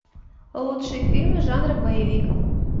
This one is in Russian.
лучшие фильмы жанра боевик